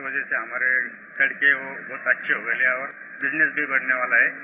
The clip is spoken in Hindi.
उसकी वजह से हमारी सड़कें वो बहुत अच्छे हो गये और बिजनेस भी बढ़ने वाला है